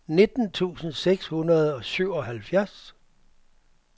nitten tusind seks hundrede og syvoghalvfjerds